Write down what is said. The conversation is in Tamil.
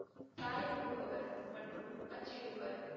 சாயமிடுபவர் மற்றும் அச்சிடுபவர்.